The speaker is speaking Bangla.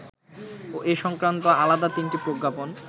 এ সংক্রান্ত আলাদা তিনটি প্রজ্ঞাপন